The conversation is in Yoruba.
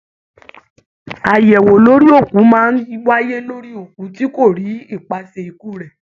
Ayẹwo lórí òkú máa n wáyé lórí òkú tí kò rí ipasẹ ikú rẹ.